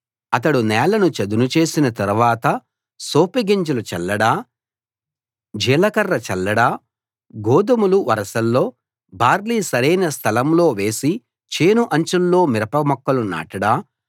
అతడు నేలను చదును చేసిన తర్వాత సోపు గింజలు చల్లడా జీలకర్ర చల్లడా గోధుమలు వరుసల్లో బార్లీ సరైన స్థలంలో వేసి చేను అంచుల్లో మిరప మొక్కలు నాటడా